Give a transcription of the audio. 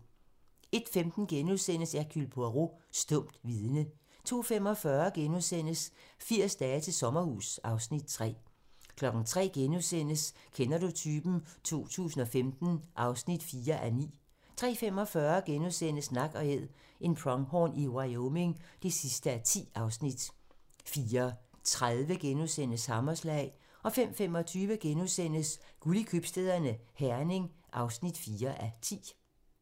01:15: Hercule Poirot: Stumt vidne * 02:45: 80 dage til sommerhus (Afs. 3)* 03:00: Kender du typen? 2015 (4:9)* 03:45: Nak & Æd - en pronghorn i Wyoming (10:10)* 04:30: Hammerslag * 05:25: Guld i købstæderne - Herning (4:10)*